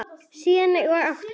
Siðum og háttum.